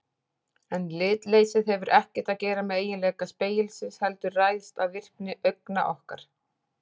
En litleysið hefur ekkert að gera með eiginleika spegilsins heldur ræðst af virkni augna okkar.